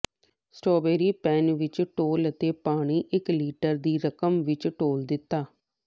strawberry pan ਵਿੱਚ ਡੋਲ੍ਹ ਅਤੇ ਪਾਣੀ ਇਕ ਲੀਟਰ ਦੀ ਰਕਮ ਵਿਚ ਡੋਲ੍ਹ ਦਿੱਤਾ